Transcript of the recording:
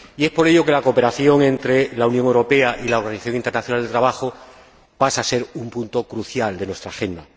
Por ello, la cooperación entre la Unión Europea y la Organización Internacional del Trabajo pasa a ser un punto crucial de nuestra agenda.